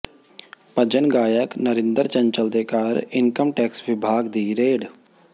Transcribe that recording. ਭਜਨ ਗਾਇਕ ਨਰਿੰਦਰ ਚੰਚਲ ਦੇ ਘਰ ਇਨਕਮ ਟੈਕਸ ਵਿਭਾਗ ਦੀ ਰੇਡ